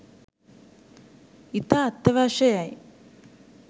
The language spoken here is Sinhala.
ඉතා අත්‍යවශ්‍යයි යැයි